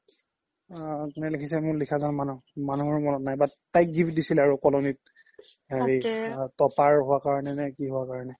আ কোনে লিখিছে মোৰ লিখা জ্ন মানুহ মানুহৰ মনত নাই but তাইক gift দিছিলে আৰু colony ত হেৰি topper হুৱা কাৰনে নে কি হুৱাৰ কাৰনে